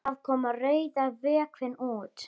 Það kom rauður vökvi út.